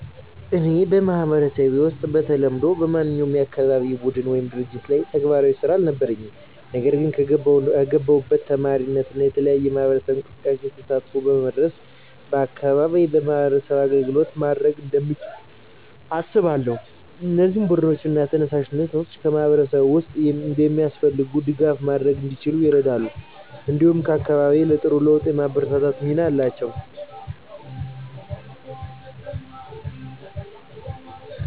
እኔ በማህበረሰቤ ውስጥ በተለምዶ በማንኛውም የአካባቢ ቡድን ወይም ድርጅት ላይ ተግባራዊ ስራ አልነበረኝም። ነገር ግን ከገባሁት ተማሪነት እና የተለያዩ የማህበረሰብ እንቅስቃሴዎች ተሳትፎ በመድረስ በአካባቢዬ ለማህበረሰቡ አገልግሎት ማድረግ እንደምችል አስባለሁ። እነዚህ ቡድኖች እና ተነሳሽነቶች በማህበረሰብ ውስጥ የሚያስፈልጉትን ድጋፍ ማድረግ እንዲችሉ ይረዳሉ፣ እንዲሁም አካባቢዬን ለጥሩ ለውጥ የማበርታት ሚና አላቸው።